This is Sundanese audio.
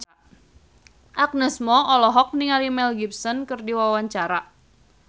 Agnes Mo olohok ningali Mel Gibson keur diwawancara